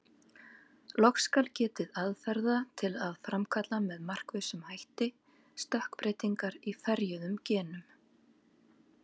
Loks skal getið aðferða til að framkalla með markvissum hætti stökkbreytingar í ferjuðum genum.